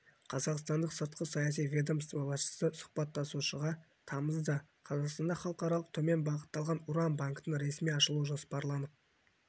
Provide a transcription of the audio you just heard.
қазақстандық сыртқы саяси ведомство басшысы сұхбаттасушыға тамызда қазақстанда халықаралық төмен байытылған уран банкін ресми ашылуы жоспарланып